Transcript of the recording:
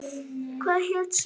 Hvað hét sá?